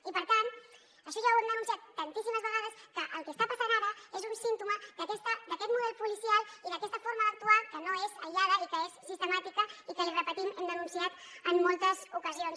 i per tant això ja ho hem denunciat tantíssimes vegades que el que està passant ara és un símptoma d’aquest model policial i d’aquesta forma d’actuar que no és aïllada i que és sistemàtica i que l’hi repetim hem denunciat en moltes ocasions